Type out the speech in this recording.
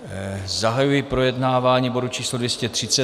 Zahajuji projednávání bodu číslo 230.